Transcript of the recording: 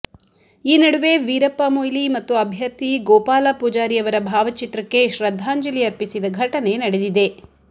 ಈ ನಡುವೆ ವೀರಪ್ಪ ಮೊಯ್ಲಿ ಮತ್ತು ಅಭ್ಯರ್ಥಿ ಗೋಪಾಲ ಪೂಜಾರಿಯವರ ಭಾವಚಿತ್ರಕ್ಕೆ ಶ್ರದ್ಧಾಂಜಲಿ ಅರ್ಪಿಸಿದ ಘಟನೆ ನಡೆದಿದೆ